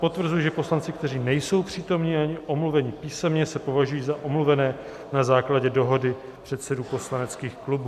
Potvrzuji, že poslanci, kteří nejsou přítomni ani omluveni písemně, se považují za omluvené na základě dohody předsedů poslaneckých klubů.